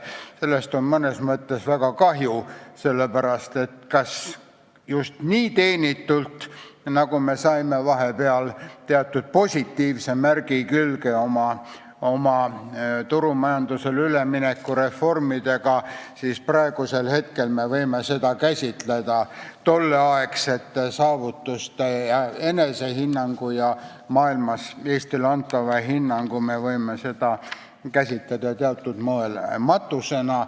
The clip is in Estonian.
Sellest on mõnes mõttes väga kahju, sest kas just teenitult, aga me saime vahepeal külge teatud positiivse märgi oma turumajandusele ülemineku reformide eest, kuid praegust olukorda me võime käsitleda tolleaegsete saavutuste, enesehinnangu ja maailmas Eestile antava hinnangu teatud moel matusena.